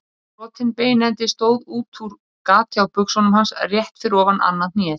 Brotinn beinendi stóð útúr gati á buxunum hans rétt fyrir ofan annað hnéð.